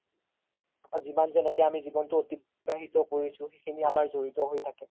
যিমান জেনেকে জিৱ্নতো এতিবাহিত কৰিছো সিখিনি আমাৰ জৰিৰ হয় থাকে